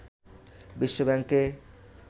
বিশ্ব ব্যাংকে